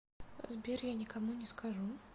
сбер я никому не скажу